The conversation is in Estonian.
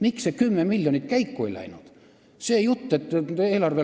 Miks see 10 miljonit käiku ei läinud?